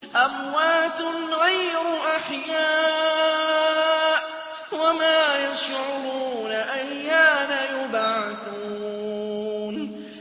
أَمْوَاتٌ غَيْرُ أَحْيَاءٍ ۖ وَمَا يَشْعُرُونَ أَيَّانَ يُبْعَثُونَ